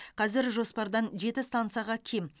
қазір жоспардан жеті стансаға кем